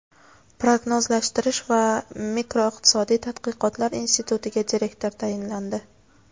Prognozlashtirish va makroiqtisodiy tadqiqotlar institutiga direktor tayinlandi.